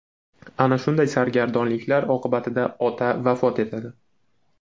Ana shunday sargardonliklar oqibatida ota vafot etadi.